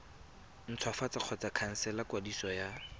ntshwafatsa kgotsa khansela kwadiso ya